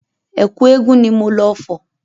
Ẹ̀kú eégun ni mo lọ fọ̀.